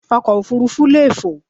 Ọkọ̀ òfurufú leè fò